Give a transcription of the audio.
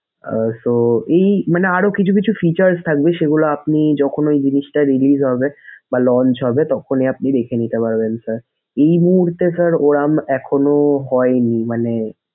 আহ so এই মানে আরো কিছু কিছু features থাকবে সেগুলা আপনি যখন ওই জিনিসটা release হবে বা launch হবে তখনি আপনি দেখে নিতে পারবেন sir এই মূহুর্ত sir ওরকম এখনো হয়নি মানে